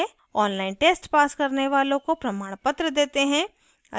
online test pass करने वालों को प्रमाणपत्र देते हैं